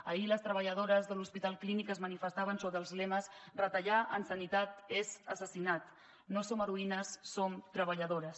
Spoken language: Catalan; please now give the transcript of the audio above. ahir les treballadores de l’hospital clínic es manifestaven sota els lemes retallar en sanitat és assassinat no som heroïnes som treballadores